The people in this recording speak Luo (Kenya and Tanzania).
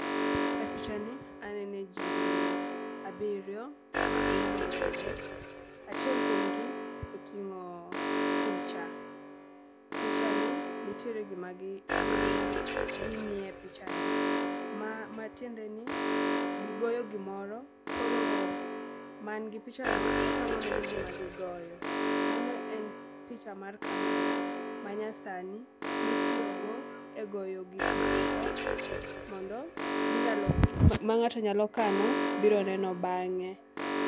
E b picha ni anene jii abiriyo magin rowere . Achiel kuomgi oting'o picha , picha ni nitiere gima gi gi ging'iye picha ni. Ma matiende ni gigoyo gimoro koro man gi picha no otang'o ne gi gima gigoyo. Mano en picha mar kamera mar picha ma nya sani mitiyo go e goyo gik moko mondo minyalo ma ng'ato nyalo kano biro neno bang'e.